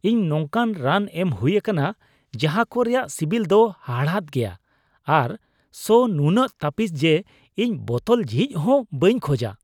ᱤᱧ ᱱᱚᱝᱠᱟᱱ ᱨᱟᱱ ᱮᱢ ᱦᱩᱭ ᱟᱠᱟᱱᱟ ᱡᱟᱦᱟ ᱠᱚ ᱨᱮᱭᱟᱜ ᱥᱤᱵᱤᱞ ᱫᱚ ᱦᱟᱲᱦᱟᱫ ᱜᱮᱭᱟ ᱟᱨ ᱥᱚ ᱱᱩᱱᱟᱹᱜ ᱛᱟᱹᱯᱤᱥᱟ ᱡᱮ ᱤᱧ ᱵᱳᱛᱚᱞ ᱡᱷᱤᱡ ᱦᱚᱸ ᱵᱟᱹᱧ ᱠᱷᱚᱡᱟ ᱾